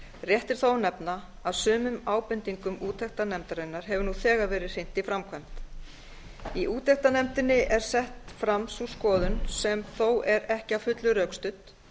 rétt er þó að nefna að sumum ábendingum úttektarnefndarinnar hefur nú þegar verið hrint í framkvæmd í úttektarnefndinni er sett fram sú skoðun sem þó er ekki að fullu rökstudd